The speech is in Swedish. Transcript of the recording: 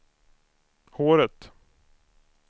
håret